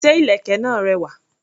Ṣé ìlèkè náà rẹwà?